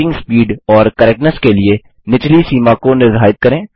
typing speed और correctness के लिए निचली सीमा को निर्धारित करें